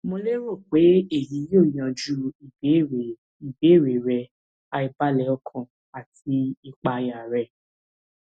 mo lérò pe eyi yoo yanju ibeere ibeere rẹ aibalẹ ọkàn ati ìpayà rẹ